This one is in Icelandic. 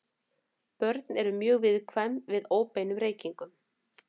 Börn eru mjög viðkvæm fyrir óbeinum reykingum.